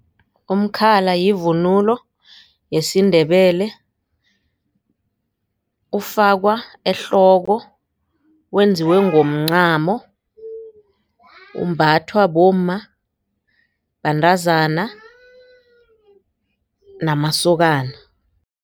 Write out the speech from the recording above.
Umkhala yivunulo yesiNdebele ufakwa ehloko wenziwe ngomncamo umbathwa bomma bantazana namasokana.